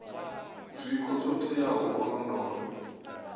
zwiko zwo teaho u londola